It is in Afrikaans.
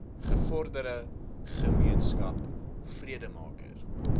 gevorderde gemeenskap vredemaker